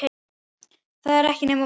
Það er ekki nema von.